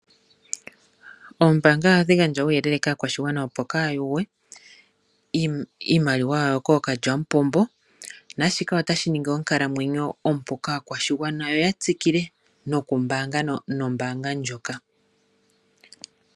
Ombaanga ohadhi gandja uuyelele kaakwashigwana opo kaya yugwe iimaliwa yawo kookalyampombo nashika otashi ningi onkalamwenyo ompu kakwashigwana yo yatsikile nokumbanga nombaanga ndjoka.